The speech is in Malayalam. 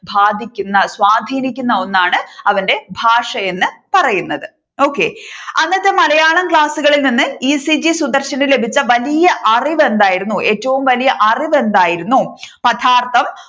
ബാധിക്കുന്ന സ്വാധീനിക്കുന്ന ഒന്നാണ് അവന്റെ ഭാഷ എന്ന് പറയുന്നത് okay അന്നത്തെ മലയാളം ക്ലാസ്സുകളിൽ നിന്ന് ഈ. സി. ജി സുദർശൻ ലഭിച്ച വലിയ അറിവ് എന്തായിരുന്നു ഏറ്റവും വലിയ അറിവ് എന്തായിരുന്നു പദാർത്ഥം,